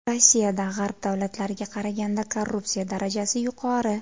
Rossiyada G‘arb davlatlariga qaraganda korrupsiya darajasi yuqori.